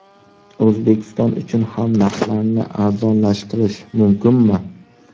O‘zbekiston uchun ham narxlarni arzonlashtirish mumkinmi?